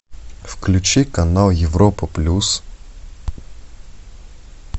включи канал европа плюс